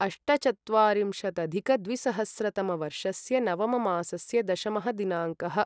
अष्टचत्वारिंशदधिकद्विसहस्रतमवर्षस्य नवममासस्य दशमः दिनाङ्कः